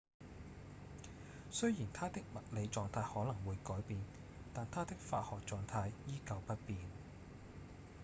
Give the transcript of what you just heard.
雖然它的物理狀態可能會改變但它的化學狀態依舊不變